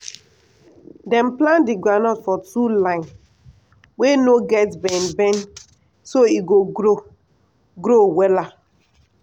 dem plant di groundnut for two line wey no get bend bend so e go grow grow wella.